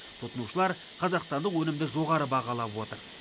тұтынушылар қазақстандық өнімді жоғары бағалап отыр